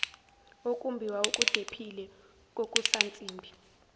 ukumbiwa okudephile kokusansimbi